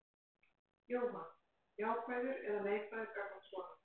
Jóhann: Jákvæður eða neikvæður gagnvart svona?